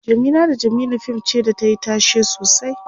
Jamila da jamilu fim ce da tayi tashe sosai